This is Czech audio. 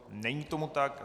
Není tomu tak.